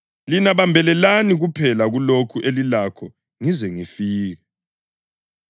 lina bambelelani kuphela kulokho elilakho ngize ngifike.’